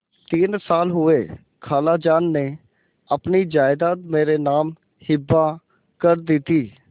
तीन साल हुए खालाजान ने अपनी जायदाद मेरे नाम हिब्बा कर दी थी